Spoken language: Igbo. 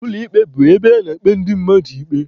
Ụlọ ikpe bụ ebe a na-ekpe ndị mmadụ ikpe.